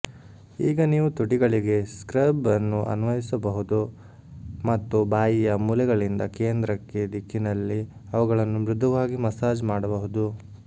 ಈಗ ನೀವು ತುಟಿಗಳಿಗೆ ಸ್ಕ್ರಬ್ ಅನ್ನು ಅನ್ವಯಿಸಬಹುದು ಮತ್ತು ಬಾಯಿಯ ಮೂಲೆಗಳಿಂದ ಕೇಂದ್ರಕ್ಕೆ ದಿಕ್ಕಿನಲ್ಲಿ ಅವುಗಳನ್ನು ಮೃದುವಾಗಿ ಮಸಾಜ್ ಮಾಡಬಹುದು